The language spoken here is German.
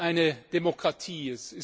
Europa ist eine Demokratie!